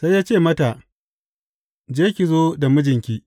Sai ya ce mata, Je ki zo da mijinki.